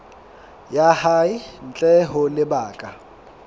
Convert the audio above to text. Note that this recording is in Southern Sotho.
ya hae ntle ho lebaka